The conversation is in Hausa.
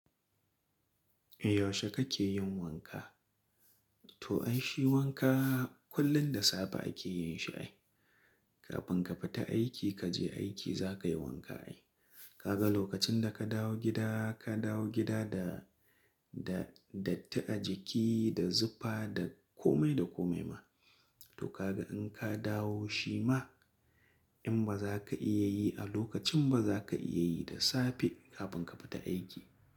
Yaushe kake yin wanka? To ai shi wanka kullum da safe ake yin shi ai. Kafin ka fita aiki kaje aiki za kayi wanka ai. Kaga lokacin da ka dawo gida, ka dawo gida da, da, datti a jiki, da zufa, da kome da kome ma. To kaga in ka dawo shi ma in ba za ka iya yi a lokacin ba za ka iya yi da safe kafin ka fita aiki.